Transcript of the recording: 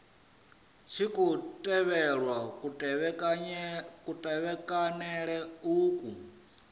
tshi khou tevhelwa kutevhekanele uku